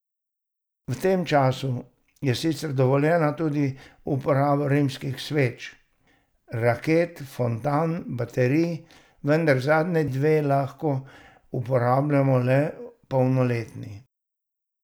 V tem času je sicer dovoljena tudi uporaba rimskih sveč, raket, fontan in baterij, vendar zadnji dve lahko uporabljajo le polnoletni.